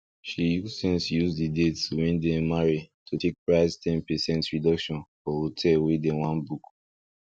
she use sense use d date wen dey marry to take price ten percent reduction for hotel wey dem won book